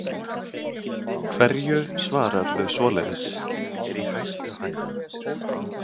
Hverju svararðu svoleiðis?